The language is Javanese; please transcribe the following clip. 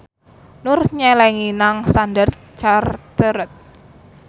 Nur nyelengi nang Standard Chartered